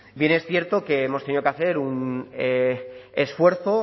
bien es cierto que hemos tenido que hacer un esfuerzo